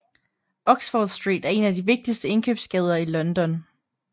Oxford Street er en af de vigtigste indkøbsgader i London